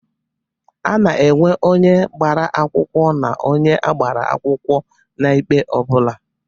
A na-enwe onye gbara akwụkwọ na onye a gbara akwụkọ n'ikpe ọ bụla.